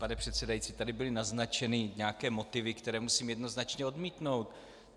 Pane předsedající, tady byly naznačeny nějaké motivy, které musím jednoznačně odmítnout.